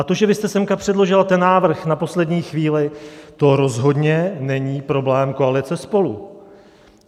A to, že vy jste sem předložila ten návrh na poslední chvíli, to rozhodně není problém koalice SPOLU.